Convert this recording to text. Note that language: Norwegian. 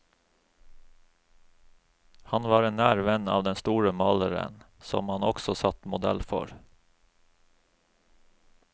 Han var en nær venn av den store maleren, som han også satt modell for.